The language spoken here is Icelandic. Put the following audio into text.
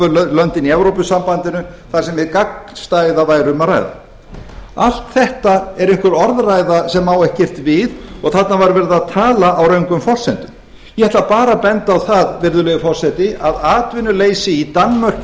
löndin í evrópusambandinu þar sem væri um hið gagnstæða að ræða allt þetta er einhver orðræða sem á ekki við og þarna var verið að tala á röngum forsendum ég ætla bara að benda á virðulegi forseti að atvinnuleysi í danmörku